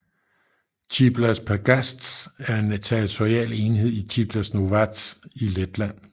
Ciblas pagasts er en territorial enhed i Ciblas novads i Letland